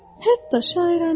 Hətta şairəncədir.